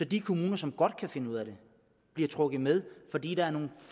de kommuner som godt kan finde ud af det bliver trukket med fordi der er nogle